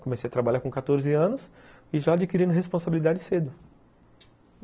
Comecei a trabalhar com quatorze anos e já adquirindo responsabilidade cedo.